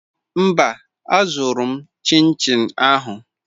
Mba, azụrụ m chinchi ahụ.